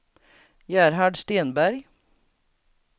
Gerhard Stenberg